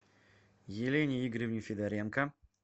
елене игоревне федоренко